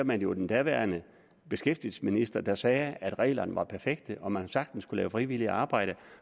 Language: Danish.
man jo den daværende beskæftigelsesminister der sagde at reglerne var perfekte og man sagtens kunne lave frivilligt arbejde